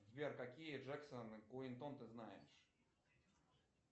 сбер какие джексон и куинтон ты знаешь